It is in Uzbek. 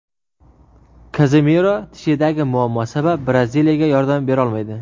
Kazemiro tishidagi muammo sabab Braziliyaga yordam berolmaydi.